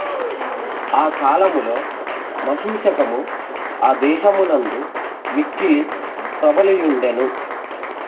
ఆ కాలములో మశూచకము ఆ దేశమునందు మిక్కిలి ప్రబలి యుండెను